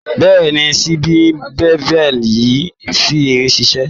Bẹ́ẹ̀ni, sliding bevel yẹn ṣì ń ṣiṣé.